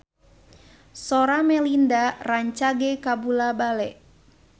Sora Melinda rancage kabula-bale